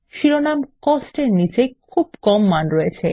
শিরোনাম কস্ট এর নীচে খুব কম মান রয়েছে